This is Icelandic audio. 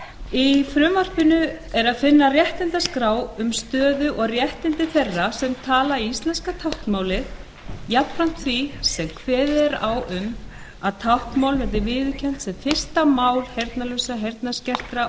í því er að finna réttindaskrá um stöðu og réttindi þeirra sem tala íslenska táknmálið jafnframt því sem kveðið er á um að táknmál verði viðurkennt sem fyrsta mál heyrnarlausra heyrnarskertra